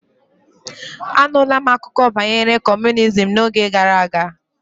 Anula m akụkọ banyere kọmunizm n'oge gara aga